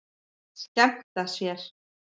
Skemmta sér.